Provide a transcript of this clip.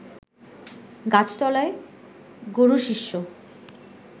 গাছতলায় গুরুশিষ্য